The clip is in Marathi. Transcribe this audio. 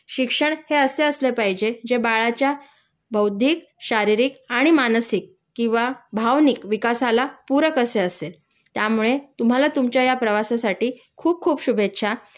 शिक्षण हे असे असले पाहिजे जे बाळाच्या बौद्धिक शारीरिक आणि मानसिक किंवा भावनिक विकासाला पूरक असे असेल.त्यामुळे तुम्हाला तुमच्या या प्रवासासाठी खूप खूप शुभेच्छा